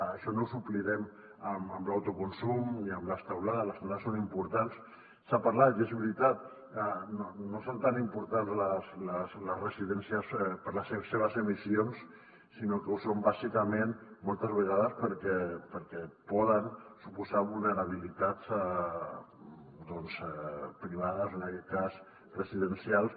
això no ho suplirem amb l’autoconsum ni amb les teulades les teulades són importants se n’ha parlat i és veritat no són tan importants les residències per les seves emissions sinó que ho són bàsicament moltes vegades perquè poden suposar vulnerabilitats doncs privades en aquest cas residencials